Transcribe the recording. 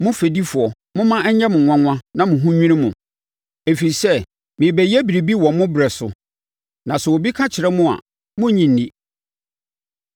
“ ‘Mo fɛdifoɔ! Momma ɛnyɛ mo nwanwa na mo ho nnwiri mo! Ɛfiri sɛ, merebɛyɛ biribi wɔ mo berɛ so, na sɛ obi ka kyerɛ mo a, morennye nni!’ ”